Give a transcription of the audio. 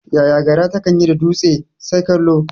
Yaya gara takan yi da dutse? Sai kallo.